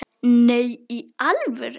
Nei, í alvöru